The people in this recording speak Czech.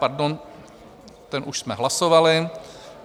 Pardon, ten už jsme hlasovali.